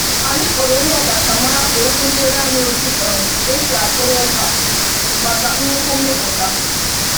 Anyị kpọrọ onye ọkachamara ka o kụziere anyị otu um esi akwụrụ ụka maka nnukwu mmịpụta.